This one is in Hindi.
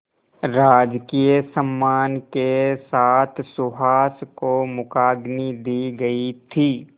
राजकीय सम्मान के साथ सुहास को मुखाग्नि दी गई थी